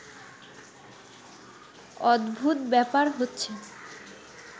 অদ্ভুত ব্যাপার হচ্ছে